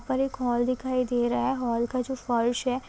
पर एक हॉल दिखाई दे रहा है हॉल का जो फर्श है--